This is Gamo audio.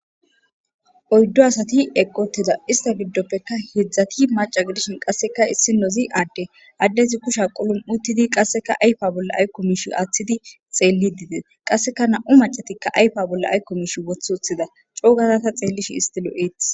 oyddo asati eqqi utida ista giddoppeka heedzdzati maca gidishin qasseka issinozi aadde addezi kusha qulum'i uttidi qasseka ayfa bolla aykkomish aaththidi xeellidi des qasseka na'u macatikka ayfa bolla aykko mish wothi utida coo gada ta xeellish isti lo'eetes